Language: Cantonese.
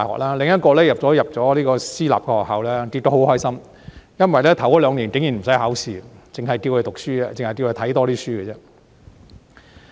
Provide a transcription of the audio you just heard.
另一個入讀私立學校，結果很開心，因為學校頭兩年竟然不用考試，只要求他多看些書。